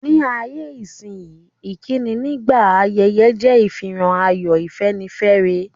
Ní ayé-isínyí, ìkíni nígbà ayẹyẹ je ìfihàn ayọ̀, ìfẹ́nifẹ́re.